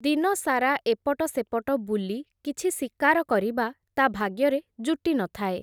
ଦିନସାରା ଏପଟ ସେପଟ ବୁଲି, କିଛି ଶିକାର କରିବା, ତା’ ଭାଗ୍ୟରେ ଜୁଟି ନ ଥାଏ ।